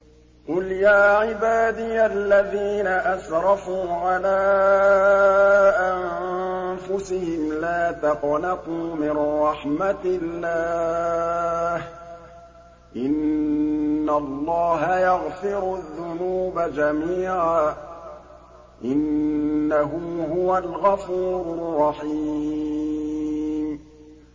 ۞ قُلْ يَا عِبَادِيَ الَّذِينَ أَسْرَفُوا عَلَىٰ أَنفُسِهِمْ لَا تَقْنَطُوا مِن رَّحْمَةِ اللَّهِ ۚ إِنَّ اللَّهَ يَغْفِرُ الذُّنُوبَ جَمِيعًا ۚ إِنَّهُ هُوَ الْغَفُورُ الرَّحِيمُ